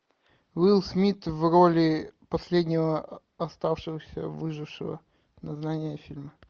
уилл смит в роли последнего оставшегося выжившего название фильма